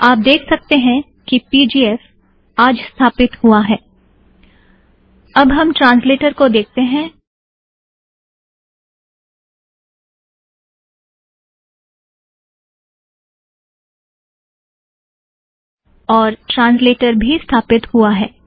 आप देख सकतें हैं कि पीजीएफ आज स्थापित हुआ है - अब हम ट्रांसलेटर को देखते हैं और ट्रांसलेटर भी स्थापित हुआ है